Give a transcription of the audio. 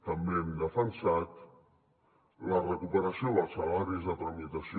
també hem defensat la recuperació dels salaris de tramitació